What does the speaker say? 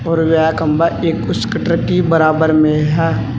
और ये खंबा एक स्कूटर की बराबर में है।